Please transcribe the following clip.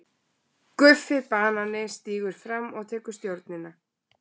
GUFFI BANANI stígur fram og tekur stjórnina.